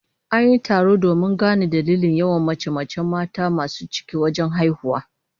An yi taro domin gano dalilin yawan mace-macen mata masu ciki wajen haihuwa